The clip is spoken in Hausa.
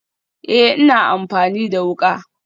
Ee, ina amfani da wuka